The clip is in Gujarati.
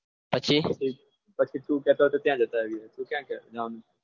પછી પછી તું કહેતો હતો ત્યાં જતા આવીએ હું ક્યાં જવાનું?